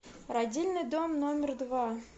родильный дом номер два